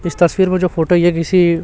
इस तस्वीर में जो फोटो ये किसी--